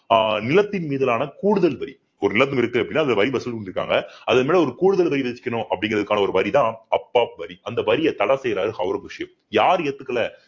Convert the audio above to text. ஆஹ் நிலத்தின் மீதான கூடுதல் வரி ஒரு இருக்கு அப்படின்னா அந்த வரி வசூல் பண்ணியிருக்காங்க அதன் மேல ஒரு கூடுதல் வரி வசிக்கணும் அப்படிங்கிறதுக்கான ஒரு வரிதான் அப்வாப் வரி அந்த வரியை தடை செய்யிறாரு ஔரங்கசீப் யார் ஏத்துக்கல